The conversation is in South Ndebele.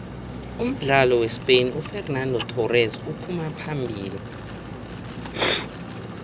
umdlali wespain ufexenando thorese uphuma phambili